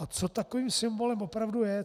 A co takovým symbolem opravdu je?